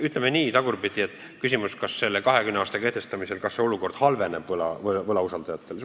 Tagurpidi sõnastades oli küsimus, kas selle 20 aasta kehtestamisel võlausaldajate olukord halveneb.